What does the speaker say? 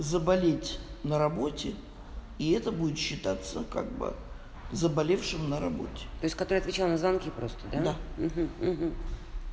заболеть на работе и это будет считаться как бы заболевшим на работе то есть который отвечала на звонки просто да у-у у-у